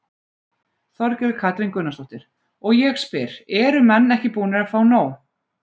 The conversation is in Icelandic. Þorgerður Katrín Gunnarsdóttir: Og ég spyr, eru menn ekki búnir að fá nóg?